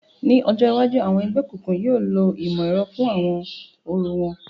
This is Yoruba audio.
Ni ọjọ iwaju, awọn ẹgbẹokunkun yóò lo imọ-ẹrọ fun awọn orȯ wọn